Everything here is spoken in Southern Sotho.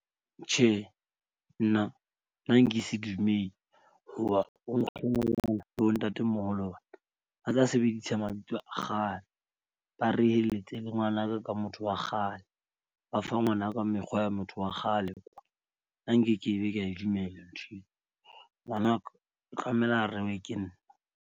Tjhe, nna na nka se dumele hoba ho nkgono le bo ntatemoholo. A tla sebedisa mabitso a kgale. Ba reheletse le ngwanaka, ka motho wa kgale. Ba fa ngwanaka mekgwa ya motho wa kgale nna nkekebe ka e dumella nthweo. Ngwanaka o tlamela a rewe ke nna.